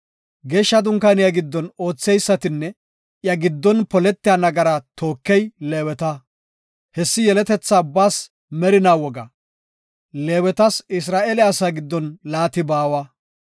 Geeshsha dunkaaniya giddon ootheysatinne iya giddon poletiya nagaraa tookey Leeweta. Hessi yeletetha ubbaas merinaa woga. Leewetas Isra7eele asaa giddon laati baawa.